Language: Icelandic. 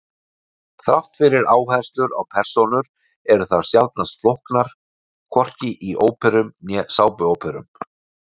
Þrátt fyrir áherslu á persónur eru þær sjaldnast flóknar, hvorki í óperum né sápuóperum.